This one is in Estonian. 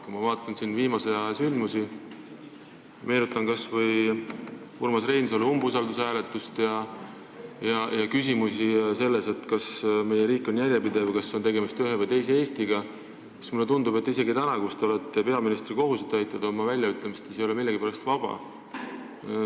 Kui ma vaatan viimase aja sündmusi, meenutan kas või Urmas Reinsalule umbusalduse avaldamise hääletust ja mõtlen küsimusele, kas meie riik on järjepidev, kas tegemist on ühe või teise Eestiga, siis mulle tundub, et isegi täna, kui te olete peaministri kohusetäitja, te oma väljaütlemistes ei ole millegipärast vaba.